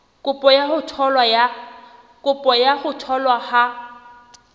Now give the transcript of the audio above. kopo ya ho tholwa ha